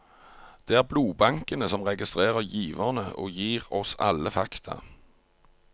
Det er blodbankene som registrerer giverne og gir oss alle fakta.